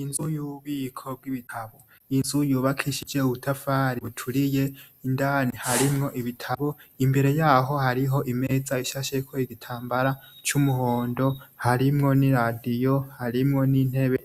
Inzu y'ububiko bw'ibitabo n'inzu yubakishije ubutafari buturiye indani harimwo Ibitabu imbere yaho hariho imeza isasheko igitambara c'umuhondo harimwo n'iradiyo harimwo n'intebe